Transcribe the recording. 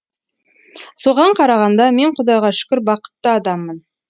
соған қарағанда мен құдайға шүкір бақытты адаммын